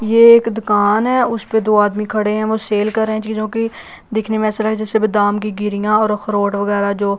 ये एक दुकान है उस पे दो आदमी खड़े हैं वो सेल कर रहे हैं चीजों की दिखने में ऐसा लग जैसे बादाम की गिरियां और अखरोट वगैरह जो--